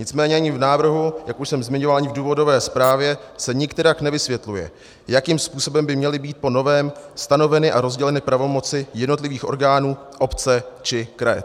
Nicméně ani v návrhu, jak už jsem zmiňoval, ani v důvodové zprávě se nikterak nevysvětluje, jakým způsobem by měly být po novém stanoveny a rozděleny pravomoci jednotlivých orgánů obce či kraje.